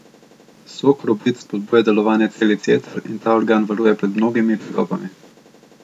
Sok robid spodbuja delovanje celic jeter in ta organ varuje pred mnogimi tegobami.